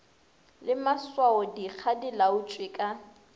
le maswaodikga di laotšwe ka